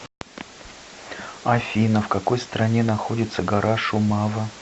афина в какой стране находится гора шумава